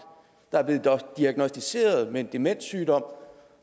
der er blevet diagnosticeret med en demenssygdom